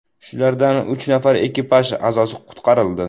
Shulardan uch nafar ekipaj a’zosi qutqarildi.